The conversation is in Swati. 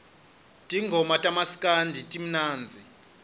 tingoma tamaskandi timnandzi